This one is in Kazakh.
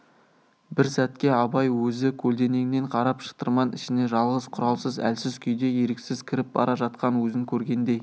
бір сәтке абай өзі көлденеңнен қарап шытырман ішіне жалғыз құралсыз әлсіз күйде еріксіз кіріп бара жатқан өзін көргендей